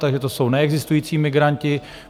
Takže to jsou neexistující migranti.